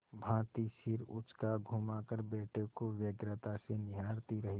भाँति सिर उचकाघुमाकर बेटे को व्यग्रता से निहारती रही